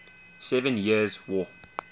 seven years war